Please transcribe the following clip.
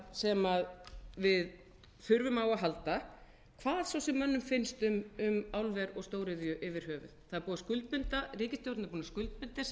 sem við þurfum á að halda hvað svo sem mönnum finnst um álver og stóriðju yfir höfuð það er búið að skuldbinda ríkisstjórnin er búin að skuldbinda sig í